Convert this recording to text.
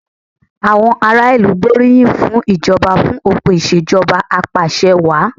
Àwọn aráàlú gbóríyìn fún ìjọba fún òpin ìṣèjọba apàṣẹwàá.